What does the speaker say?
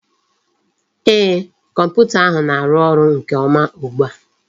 Ee, Kọmputa ahụ na-arụ ọrụ nke ọma ugbua